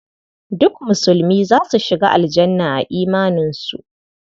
Duk musulmi za su shiga Aljanna a imaninsu.